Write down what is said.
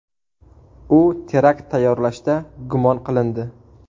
U terakt tayyorlashda gumon qilindi.